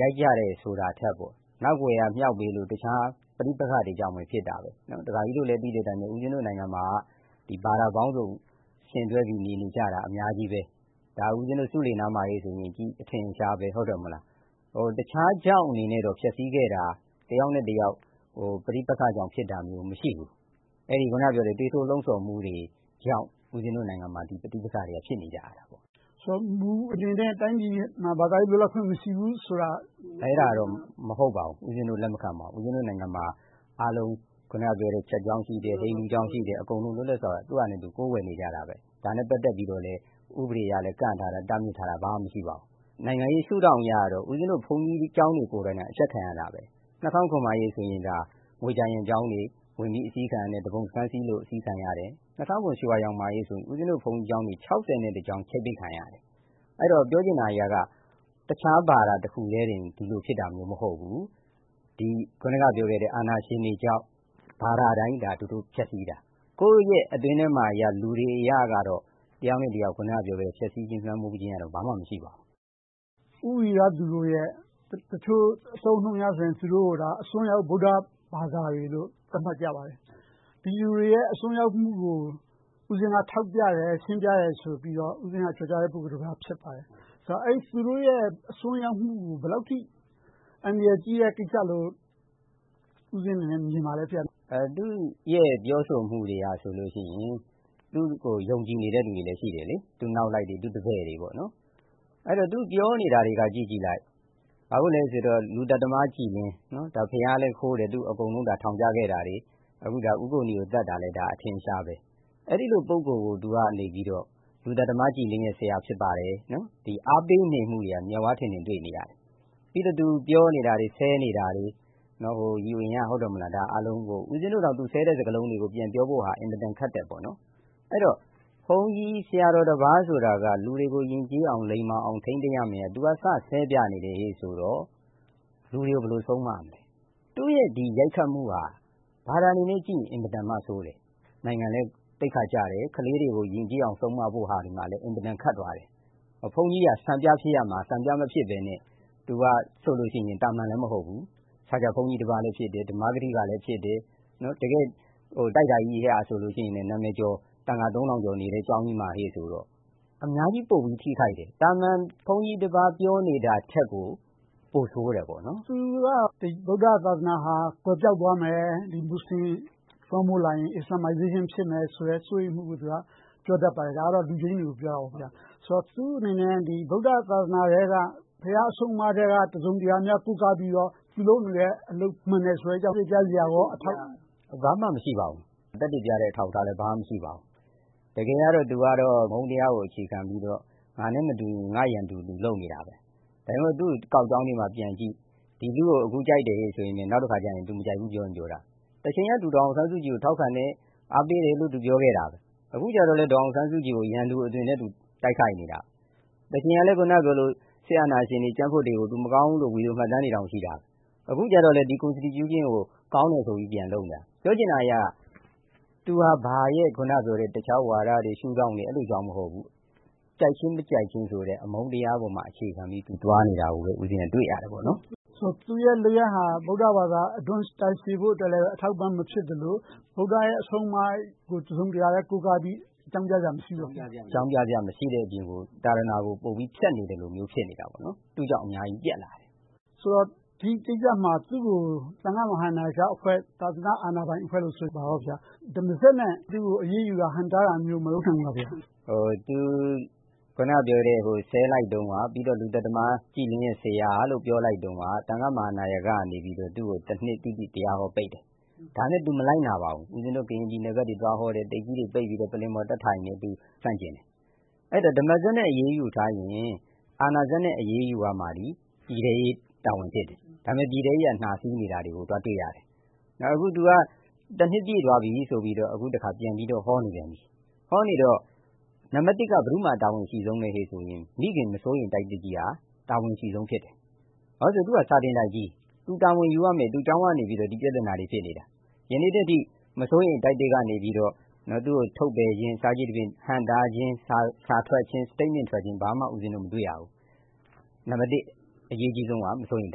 ရိုက်ကြတယ်ဆိုတာထက်၊ နောက်ကွယ်ကမြှောက်ပေးလို့၊ တခြားပဋိပက္ခတွေကြောင့် ဖြစ်တယ်။ ဒါကာကြီးတို့ သိတဲ့အတိုင်းပဲ ဦးပဉ္ဇင်း နိုင်ငံမှာ ဘာသာပေါင်းစုံ ယှဉ်တွဲပြီးနေနေကြတာ အများကြီးပါ။ ဒါကို ဆူးလေနားမှာဆိုရင် အထင်အရှားပဲ။ တခြားကြောင့်နဲ့ ပျက်ဆီးခဲ့တာ၊ တယောက်နဲ့တယောက် ပဋိပက္ခကြောင့် ဖြစ်တာမျိုး မရှိဘူး။ အခုနပြောတဲ့ သွေးထိုးလှုံဆော်မှုတွေကြောင့် ဒီမှာ ပဋိပက္ခတွေ ဖြစ်နေကြာတာ။ မူအနေနဲ့ တိုင်းပြည်တွင်းမှာ ဘာသာရေးလွတ်လပ်ခွင့် မရှိဘူးဆိုတာ ဟုတ်လား။ အဲဒါတော့ မဟုတ်ပါဘူး။ ဦးပဉ္ဖင်းတို့နိုင်ငံမှာ ခရစ်ယာန်ကျောင်း၊ ဟိန္ဒူကျောင်း အကုန်လုံး လွတ်လပ်စွာ သူ့ဟာနဲ့သူ ကိုးကွယ်နေကြတယ်။ ဒါနဲ့ပတ်သက်ပြီးတော့လဲ ဥပဒေကလည်း ကန့်သတ်ထားတာ၊ တားမြစ်ထားတာ ဘာမှမရှိပါဘူး။ နိုင်ငံရေးရှုထောင့်အရတော့ ဦးပဉ္ဖင်းတို့ကျောင်းတွေကိုယ်တိုယ် အကျပ်ခံရတာပဲ။ ၂၀၀၇ အရေးခင်းမှာဆို ငွေကြာရံကျောင်းတွေ ဝင်အစီးခံရတယ်။ သူပုန်စခန်းစီးသလို အစီးခံရတယ်။ ၂၀၀၇ ရွှေဝါရောင်အရေးမှာဆို ဘုန်းကြီးကျောင်း ကျောင်း ချိတ်ပိတ်ခံရတယ်။ အဲဒီတော့ ပြောချင်တာက တခြားဘာသာတခုတည်းပင် ဒီလိုဖြစ်တာ မဟုတ်ဘူး။ အခုနပြောတဲ့ အာဏာရှင်တွေကြောင့် ဘာသာတိုင်းကို သူုတို့ဖျက်ဆီးတာ။ ကိုယ့်ရဲ့အတွင်းထဲမှာတော့ လူတွေအရတော့ တယောက်နဲ့တယောက် ဖျက်ဆီးခြင်း၊ လွှမ်းမိုးခြင်း ဘာမှမရှိပါဘူး။ ဦးဝိရသူတို့ရဲ့ တချို့အသုံးအနှုန်းတွေအရဆိုရင် အစွန်းရောက်ဗုဒ္ဓဘာသာတွေလို့ သတ်မှတ်ကြပါတယ်။ ဒီလူတွေရဲ့ အစွန်းရောက်မှုကို ဦးပဉ္ဖင်းက ထောက်ပြတယ်။ ရှင်းပြတယ်ဆိုပြီး ကျော်ကြားတဲ့ ပုဂ္ဂိုလ်တပါး ဖြစ်ပါတယ်။ သူတို့ရဲ့ အစွန်းရောက်မှုကို ဘယ်လောက်အထိ အန္တရာယ်ကြီးတဲ့ကိစ္စလို့ မြင်ပါလဲ။ သူ့ရဲ့ ပြောဆိုမှုတွေကဆိုရင် သူကိုယုံကြည်နေတဲ့ လူတွေလည်းရှိတယ်။ သူ့နောက်လိုက်တွေ၊ တပည့်တွေ။ သူပြောနေတာကိုကြည့်လိုက် - လူသတ်သမား ကြည်လင်း - ဘုရာုးလည်းခိုးတယ်၊ ထောင်လည်းကျခဲ့တယ်။ ဦးကိုနီကို သတ်တာလည်း အထင်အရှားပဲ။ အဲဒီလိုပုဂ္ဂိုလ်ကို သူက လူသတ်သမားကြည်လင်းရဲ့ ဆရာဖြစ်ပါတယ်။ အားပေးနေမှုတွေက မျက်ဝါးထင်ထင် တွေ့နေရတယ်။ ပြီးတော့ သူပြောနေတာတွေ၊ ဆဲနေတာတွေအားလုံးကို ဦးပဉ္ဖင်းတို့ ပြန်ပြောဖို့တောင် အတော်ခက်တယ်။ အဲဒီတော့ ဘုန်းကြီးဆရာတော်တပါးဆိုတာက လူတွေကို ယဉ်ကျေးအောင်၊ ထိန်းသိမ်းပြောရမှာကို သူက စဆဲပြနေတော့ လူတွေကို ဘယ်လိုဆုံးမမလဲ။ သူ့ရဲ့ ရိုက်ခတ်မှုက ဘာသာအနေနဲ့ကြည့်ရင် အင်မတန်မှဆိုးတယ်။ နိုင်ငံလည်း သိက္ခာကျတယ်။ ခလေးတွေကို ယဉ်ကျေးအောင် ဆုံးမဖို့အတွက်လည်း အင်မတန်မှ ခက်သွားတယ်။ ဘုန်းကြီးက စံပြဖြစ်ရမှာ၊ စံပြမဖြစ်ဘဲနဲ့ သူက သာမန်လည်းမဟုတ်ဘူး၊ စာချဘုန်းကြီးလည်းဖြစ်တယ်။ ဓမ္မစရိယလည်း ဖြစ်တယ်။ တကယ့် နာမည်ကျော် စာသင်တိုက်ကြီးမှာ သံဃာသုံးထောင်ကျော်နေတဲ့ ကျောင်းကြီးမှာဆိုတော့ အများကြီးပိုပြီးထိခိုက်တယ်။ သာမန်ဘုန်းကြီးတပါး ပြောတာထက်ကို ပိုဆိုးတယ်။ သူက ဗုဒ္ဓသာသနာဟာ ကွယ်ပျောက်သွားမယ်။ မူစလင်လွှမ်းမိုးလာရင် Islamization ဖြစ်လာမယ်ဆိုတဲ့ စိုးရိမ်မှုနဲ့ ပြောတတ်ပါတယ်။ ဒါကတော့ လူပိန်းတွေကို ပြောတာပါ။ သူ့အနေနဲ့ ဗုဒ္ဓသာသနာထဲက ဘုရားအဆုံးအမထဲက တစုံတရာများ ကိုးကားပြီးတော့ သူလုပ်နေတဲ့အလုပ် မှန်တယ်လို့ ထောက်ပြနေလား။ ဘာမှမရှိပါဘူး။ သက်သေပြတဲ့ အထောက်အထားလည်း ဘာမှမရှိပါဘူး။ တကယ်ကတော့ သူက အမုန်းတရားကို အခြေခံပြီးတော့ ငါနဲ့မတူရင် ငါ့ရန်သူ လုပ်နေတာပါ။ သူ့ကောက်ကြောင်းထဲမှာပြန်ကြည့် ဒီလူကို အခုကြိုက်တယ်လို့ပြောပြီး နောက်တခါ မကြိုက်ဘူး ပြောချင်ပြောတာ။ တချိန်က ဒေါ်အောင်ဆန်းစုကြည်ကို ထောက်ခံတယ်။ အားပေးတယ်လို့ သူပြောခဲ့တယ်။ အခုကြတော့ ဒေါ်အောင်ဆန်းစုကြည်ကို ရန်သူအသွင်နဲ့ တိုက်ခိုက်နေတာ။ တချိန်က စစ်အာဏာရှင်တွေ၊ ကြံ့ဖွံ့တွေကို မကောင်းဘူးလို့ ပြောခဲ့တာ ဗီဒီယိုမှတ်တမ်းတွေ ရှိခဲ့တယ်။ အခုကြတော့ အခြေခံဥပဒေကို ကောင်းတယ်ဆိုပြီး လုပ်နေတာ။ ပြောချင်တာက သူက တခြားဝါဒတွေ၊ ရှုထောင့်တွေကြောင့် မဟုတ်ဘူး။ ကြိုက်ခြင်း၊ မကြိုက်ခြင်းဆိုတဲ့ အမုန်းတရားပေါ် အခြေခံပြီး သွားနေတယ်လို့ တွေ့ရတယ်။ သူ့ရဲ့ လုပ်ရပ်က ဗုဒ္ဓသာသနာ အဓွန့်ရှည်ဖို့လည်း အထောက်အပံ့ မဖြစ်သလို၊ ဗုဒ္ဓရဲ့ အဆုံးအမကိုလည်း တစုံတရာ ကိုးကားပြီး အကြောင်းပြစရာ မရှိဘူးပေါ့။ မရှိတဲ့အပြင်ကို သာသနာကို ပိုပြီးဖျက်နေသလိုမျိုး ဖြစ်နေတယ်။ သူကြောင့် အများကြီးပျက်လာတယ်။ ဒီကိစ္စမှာ သူကို သံဃာနာယကအဖွဲ့ - သာသနာပိုင်အဖွဲ့က ဓမ္မစက်နဲ့ ဟန့်တားတာမျိုး၊ အရေးယူတာမျိုး မလုပ်သင့်ဘူးလား။ အခုနပြောတဲ့ သူဆဲလိုက်တုန်းက၊ လူသတ်သမား ကြည်လင်းဆရာလို့ ပြောလိုက်တုန်းက သံဃနာယကမှ တနှစိတိ တရားဟောပိတ်တယ်။ ဒါပေမဲ့ သူမလိုက်နာပါဘူး။ ကရင်ပြည်နယ်ဘက်တွေ သွားဟောတယ်။ ပါးစပ်ကိုတိပ်နဲ့ ပိတ်ပြီးတော့ထိုင်တယ်။ အဲဒီတော့ ဓမ္မစက်နဲ့ အရေးယူခိုင်းရင် အာဏာစက်နဲ့ အရေးယူမှာက ပြည်ထဲရေးဖြစ်တယ်။ ဒါပေမဲ့ ပြည်ထဲရေးက နှားစေးတာကို တွေ့နေရတယ်။ အခုသူက တနှစ်ပြည့်သွားပြီဆိုပြီးတော့ ပြန်ဟောနေတယ်။ ဟောနေတော့ နံပတ်တစ် ဘယ်သူမှာ တာဝန်အရှိဆုံးလဲဆိုတော့ မိခင်မစိုးရိမ်တိုက်ကြီးက တာဝန်အရှိဆုံးဖြစ်တယ်။ ဘာဖြစ်လို့လဲဆိုတော့ သူက စာသင်တိုက်ကြီး။ သူက ဖြေရှင်းရမယ် - တာဝန်ယူရမယ်။ ဒီကျောင်းကနေ ပြဿနာတွေ ဖြစ်နေတာ။ ယနေ့အထိ မစိုးရိမ်တိုက်သစ်ကနေ သူကိုထုတ်ပယ်ခြင်း၊ ဟန့်တားခြင်း၊ စာထွက်ခြင်း၊ Statement ထွက်ခြင်း ဘာမှမတွေ့ရဘူး။ နံပတ်တစ် အရေးကြီးဆုံးက မစိုးရိမ်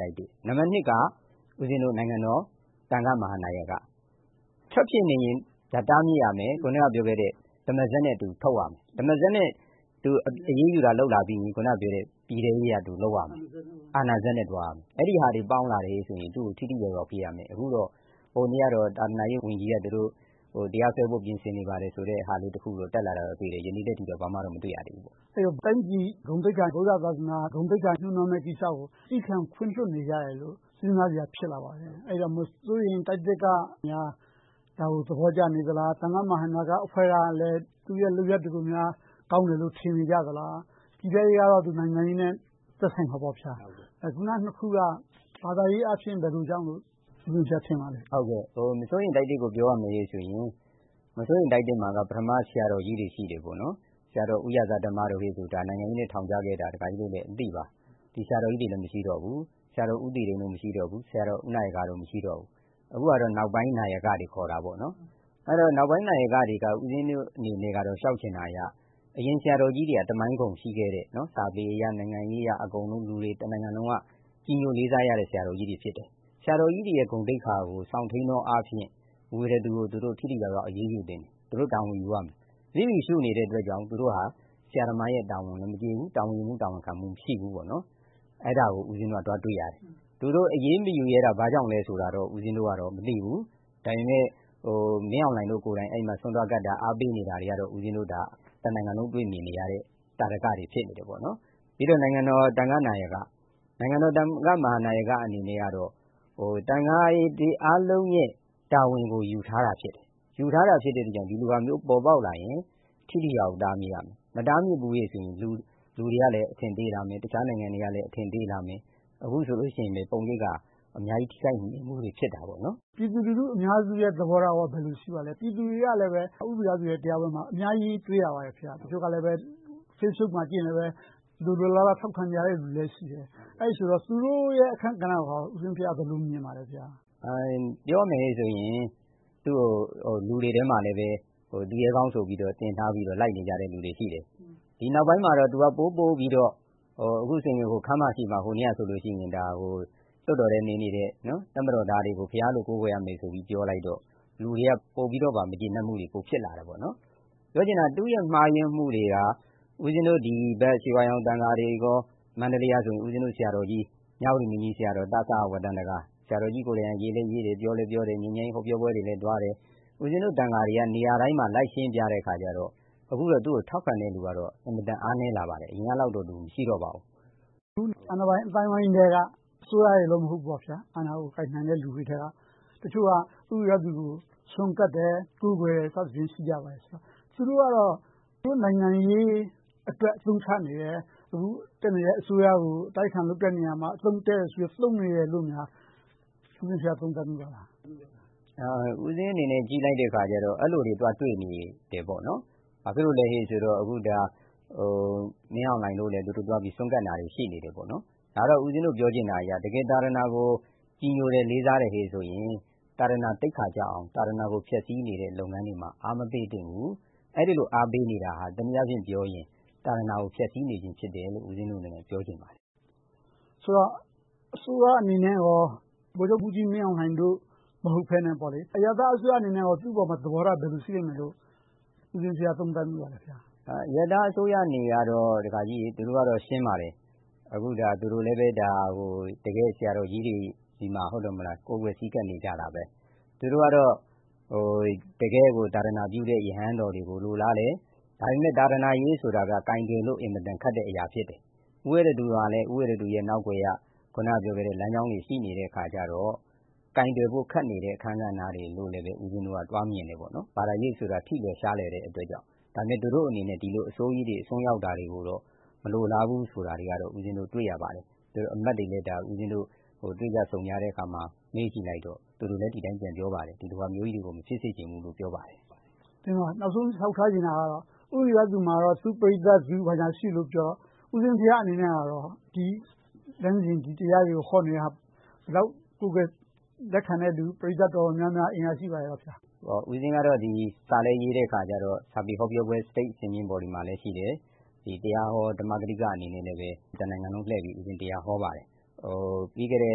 တိုက်သစ်။ နံပတ်နှစ်က နိုင်ငံတော်သံဃနာယက - ထပ်ဖြစ်နေရင် တားမြစ်ရမယ်။ အခုနပြောတဲ့ ဓမ္မစက်နဲ့ ထုတ်ရမယ်။ ဓမ္မစက်နဲ့ အရေးယူလုပ်လာပြီးရင် ပြည်ထဲရေးက အာဏာစက်နဲ့ လုပ်ရမယ်။ အဲဒါတွေပေါင်းလာရင် သူကို ထိထိရောက်ရောက် လုပ်နိုင်မယ်။ ဟိုနေ့ကတော့ သာသနာရေးဝန်ကြီးက တရားစွဲဖို့ ပြင်ဆင်နေပါတယ်ဆိုတဲ့ ပြောဆိုချက် တက်လာတာကိုတွေ့တယ်။ ဒီနေ့အထိတော့ ဘာမှတော့ မတွေ့ရသေးဘူး။ တိုင်းပြည်ဂုဏ်သိက္ခာ၊ သာသနာဂုဏ်သိက္ခာထိခိုက်မယ်ကိစ္စကို သည်းခံခွင့်လွှတ်နေကြတယ်လို့ စဉ်းစားစရာ ဖြစ်လာပါတယ်။ အဲဒီတော့ မစိုးရိမ်တိုက်သစ်ကများ ဒါကို သဘောကျနေသလား။ သံဃနာယကအဖွဲ့က သူ့ရဲ့လုပ်ရပ်တွေကိုများ ကောင်းတယ်လို့ ထင်နေကြသလား။ ပြည်ထဲရေးကတော့ နိုင်ငံရေးနဲ့ သက်ဆိုင်မှာပေါ့။ အခုနနှစ်ခုက ဘာသာရေးအားဖြင့် ဘယ်လိုကြောင့်လလို့ ထင်ပါလဲ။ မစိုးရိမ်တိုက်သစ်ကို ပြောရမယ်ဆိုရင် မစိုးရိမ်တိုက်သစ်မှာ ပထမဆရာတော်ကြီးတွေ ရှိတယ်။ ဆရာတော်ဦးရာဇဓမ္မဆိုရင် နိုင်ငံရေးနဲ့ ထောင်ကျခဲ့တာ ဒကာကြီးတို့လည်းအသိပါ။ ဒီဆရာတော်ကြီးတွေလည်း မရှိတော့ဘူး။ ဆရာတော်ဦးနာယကတို့ မရှိတော့ဘူး။ အခုကတော့ နောက်ပိုင်းနာယကတွေ ခေါ်တာပေါ့။ နောက်ပိုင်းနာယကတွေကို ဦးပဉ္ဖင်းတို့အနေနဲ့ လျှောက်ချင်တာက အရင်ဆရာတော်ကြီးတွေက သမိုင်းဂုဏ်ရှိခဲ့တဲ့ စာပေအရ၊ နိုင်ငံရေးအရ အကုန်လုံး တနိုင်ငံလုံးက ပြည်သူတွေ ကြည်ညိုခံရတဲ့ ဆရာတော်ကြီးတွေ ဖြစ်တယ်။ သူတို့တွေရဲ့ ဂုဏ်သိက္ခာကို စောင့်ထိန်းသောအားဖြင့် ဝိရသူကို သူတို့ထိထိရောက်ရောက် အရေးယူသင့်တယ်။ သူတို့ တာဝန်ယူရမယ်။ လစ်လျူရှုနေတဲ့အတွက်ကြောင့် သူတို့ဟာ ဆရာသမားတာဝန်လည်း မကျေဘူး။ တာဝန်ယူမှု၊ တာဝန်ခံမှုလည်း မရှိဘူး။ အဲဒါကို တွေ့ရတယ်။ သူတို့ အရေးမယူရဲတာ ဘာကြောင့်လဲဆိုတာတော့ မသိဘူး။ ဒါပေမဲ့ မင်းအောင်လှိုင်တို့ကိုယ်တိုင် အဲဒီမှာ ဆွမ်းသွားကပ်တာ၊ အားပေးနေတာကိုတော့ တနိုင်ငံလုံး တွေ့နေရတဲ့ သာဓကတွေ ဖြစ်နေတယ်။ နောက် နိုင်ငံတော်သံဃနာယကအနေနဲ့တော့ သံဃာတွေအားလုံးရဲ့ တာဝန်ကိုယူထားတာ ဖြစ်တယ်။ ယူထားတာ ဖြစ်တဲ့အတွက် ဒီလိုဟာမျိုးဖြစ်လာရင် ထိထိရောက်ရောက် တားမြစ်ရမယ်။ မတားမြစ်ဘူးဆိုရင် လူတွေက အထင်သေးလာမယ်။ တခြားနိုင်ငံတွေကလည်း အထင်သေးလာမယ်။ ပြည်သူလူထုအများစုရဲ့ သဘောထားက ဘယ်လိုရှိပါလဲ။ ပြည်သူတွေကလည်း ဦးဝိရသူဘက်မှာ အများကြီးတွေ့ရပါတယ်။ Facebook မှာ ကြည့်ရင်လဲ လိုလိုလားလား ထောက်ခံကြတာတွေ ရှိတယ်။ အဲဒီလိုဆိုတော့ သူတို့ရဲ့ အခန်းကဏ္ဍကို ဘယ်လိုမြင်ပါလဲ။ ပြောရမယ်ဆိုရင် သူကို လူတွေထဲမှာလဲ သူရဲကောင်းဆိုပြီး လိုက်နေကြတဲ့ လူတွေလည်းရှိတယ်။ ဒီနောက်ပိုင်းမှာတော့ သူက ပိုပိုပြီးတော့ ဟိုတနေ့ကဆိုရင် ခန်းမရှေ့မှာ လွှတ်တော်ထဲနေနေတဲ့ တပ်မတော်သားတွေကို ဘုရားသခင်လို ကိုးကွယ်ရမယ်လို့ ပြောလိုက်တော့ လူတွေက ပိုပြီးတော့ မကျေနပ်မှုတွေ ပိုဖြစ်လာတယ်။ ပြောချင်တာက သူ့ရဲ့ မှားယွင်းမှုတွေက ဦးပဉ္ဖင်းတို့ ဒီဘက် ရွှေဝါရောင်သံဃာတွေ၊ မန္တလေးကဆိုရင် ဆရာတော်ကြီး မြဝတီမင်းကြီးဆရာတော်ကြီကိုယ်တိုင် ပြောလည်းပြောတယ်၊ ရေးလည်းရေးတယ်။ ငြိမ်းချမ်းရေးဟောပြောပွဲတွေလည်း သွားတယ်။ ဦးပဉ္ဖင်းတို့ သံဃာတွေက နေရာတိုင်းမှာ လိုက်ရှင်းပြလေတော့ အခုတော့ သူကိုထောက်ခံတဲ့လူတွေကတော့ အင်မတန် အားနည်းလာပါတယ်။ အရင်တုန်းကလောက်တော့ မရှိတော့ပါဘူး။ အာဏာပိုင်း အသိုင်းအဝိုင်းထဲက အစိုးရတော့ မဟုတ်ပါဘူး။ အာဏာကို ကိုင်နိုင်တဲ့လူတွေထဲက တချို့က ဦးဝိရသူကို ဆွမ်းကပ်တယ်။ ကိုးကွယ်တယ်ဆိုပြီး ရှိကြပါတယ်။ သူတို့ကတော့ သူတို့နိုင်ငံရေးအတွက် အသုံးချနေတယ်။ အခုတက်နေတဲ့ အစိုးရကို အတိုက်အခံလုပ်တဲ့နေရာမှာ အသုံးတည့်နေလို့ သုံးနေတယ်လို့များ သုံးသပ်မိပါသလား။ ကြည့်လိုက်တဲ့အခါကြတော့ အဲဒီလိုတွေ သွားတွေ့တယ်။ ဘာဖြစ်လို့လဲဆိုတော့ မင်းအောင်လှိုင်တို့လည်း သွားဆွမ်းကပ်နေတာတွေ ရှိနေတယ်။ ဒါက ပြောချင်တာက တကယ်သာသနာကို ကြည်ညိုတယ်၊ လေးစားတယ်ဆိုရင် သာသနာသိက္ခာကျအောင်၊ ဖျက်ဆီးနတဲ့ လုပ်ငန်းတွေကို အားမပေးသင့်ဘူး။ အဲဒီလို အားပေးနေတာ တနည်းအားဖြင့်ပြောရင် သာသနာကို ဖျက်ဆီးနေခြင်းဖြစ်တယ်လို့ ပြောချင်ပါတယ်။ အစိုးရအနေနဲ့ ဗိုလ်ချုပ်မှူးကြီးမင်းအောင်လှိုင်တို့ မဟုတ်ဘဲနဲ့ အရပ်သားအစိုးရအနေနဲ့ သူ့အပေါ်မှာ သဘောထားဘယ်လို ရှိလိမ့်မယ်လို့ သုံးသပ်မိပါလဲ။ အရပ်သားအစိုးရအနေနဲ့တော့ သူတို့က ရှင်းပါတယ် တကယ့်ဆရာတော်ကြီးတွေဆီမှာ ကိုးကွယ်ဆည်းကပ်နေတယ်။ သူတို့ကတော့ တကယ့်ကို သာသနာပြုတဲ့ ရဟန်းတော်တွေကို လိုလားတယ်။ ဒါပေမဲ့ သာသနာရေးဆိုတာက ကိုင်တွယ်လို့ အင်မတန်ခက်တဲ့အရာ ဖြစ်တယ်။ ဦးဝိရသူကလည်း သူ့နောက်ကွယ်က လမ်းကြောင်းတွေ ရှိနေလေတော့ ကိုင်တွယ်တဲ့ ခက်နေတဲ့ အခန်းကဏ္ဍတွေလို့ မြင်မိတယ်။ ဘာသာရေးဆိုတာ ထိလွယ်ရှလွယ်တဲ့အတွက်ကြောင့် - ဒါပေမဲ့ သူတို့အနေနဲ့ ဒီလိုအဆိုးကြီးတွေ၊ အစွန်းရောက်တာတွေကိုတော့ မလိုလားဘူးဆိုတာကိုတော့ တွေ့ရပါတယ်။ အမတ်တွေနဲ့ တွေ့ကြဆုံကြတဲ့အခါမှာ မေးကြည့်လိုက်တော့ သူတိုက ဒါမျိုးကြီးတွေ မဖြစ်စေချင်ဘူးလို့ ပြောပါတယ်။ နောက်ဆုံးလျှောက်ထားချင်တာကတော့ ဦးဝိရသူမှာ သူ့ပရိသတ်နဲ့သူ ရှိနေတော့ ဦးပဉ္ဖင်းဘုရားအနေနဲ့ ဒီလမ်းစဉ် ဒီတရားတွေကို ဟောနေတာ ဘယ်လောက်ကိုးကွယ် လက်ခံတဲ့လူ ပရိသတ်တော်တော်များများ ရှိပါသလား။ ဦးပဉ္ဖင်းကတော့ စာလည်းရေတော့ စာပေဟောပြောပွဲတွေမှာလည်း ရှိတယ်။ တရားဟောဓမ္မကထိကအနေနဲ့လည်း တနိုင်ငံလုံး လှည့်ပြီး တရားဟောပါတယ်။ ပြီးခဲ့တဲ့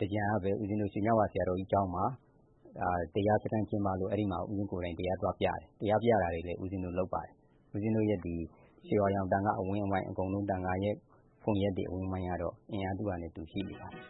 သင်္ကြန်ကပဲ ရွှေညဝါဆရာတော်ကြီးကျောင်းမှာ တရားစခန်းကျင်းပလို့ အဲဒီမှာ ကိုယ်တိုင်တရားသွားပြတယ်။ တရားပြတာတွေလည်း လုပ်ပါတယ်။ ရွှေဝါရောင် အဝန်းအဝိုင်း သံဃာတွေကန်ရက်ကတော့ အင်အားသူ့ဟာနဲ့သူ ရှိနေပါတယ်။